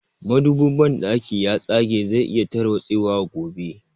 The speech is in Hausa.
Madobin banɗakin ya tsage zai iya tarwatse wa gobe